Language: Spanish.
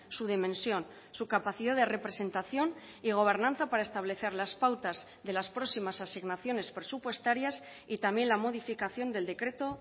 su dimensión su capacidad de representación y gobernanza para establecer las pautas de las próximas asignaciones presupuestarias y también la modificación del decreto